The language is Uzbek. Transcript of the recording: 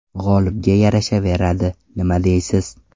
G‘olibga yarashaveradi, nima deysiz?